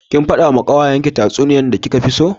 Kin fada wa kawayanki tatsuniya da kika fi so?